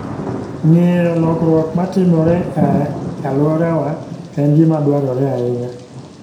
Ng'eyo lokruok matimore e alworawa en gima dwarore ahinya.